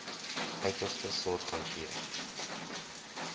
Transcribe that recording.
uiterste sorg hanteer